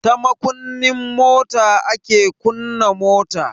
Ta makunnin mota ake kunna mota.